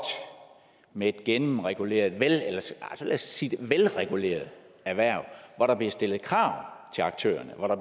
med et gennemreguleret nej lad os sige et velreguleret erhverv hvor der bliver stillet krav til aktørerne og